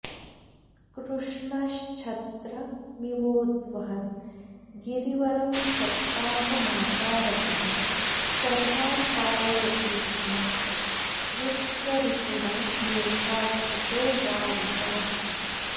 कृष्णश्छत्रमिवोद्वहन् गिरिवरं सप्ताहमासारतः सर्वान् पालयति स्म वृत्ररिपुणा मेघास्ततो वारिताः